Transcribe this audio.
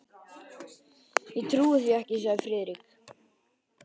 Ég trúi því ekki, sagði Friðrik.